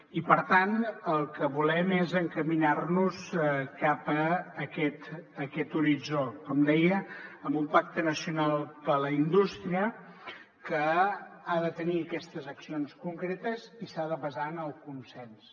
i per tant el que volem és encaminar nos cap aquest horitzó com deia amb un pacte nacional per la indústria que ha de tenir aquestes accions concretes i s’ha de basar en el consens